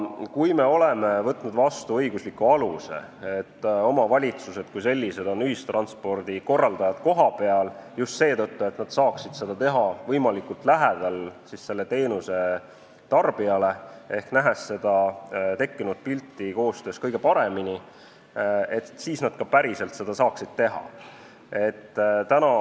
Kui me oleme võtnud vastu õigusliku aluse, et omavalitsused korraldavad ühistransporti kohapeal – just seetõttu, et nad saaksid seda teha võimalikult lähedal selle teenuse tarbijale ehk nähes seda tekkinud pilti koostöös kõige paremini –, siis nad peaksid ka päriselt saama seda teha.